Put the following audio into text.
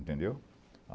Entendeu?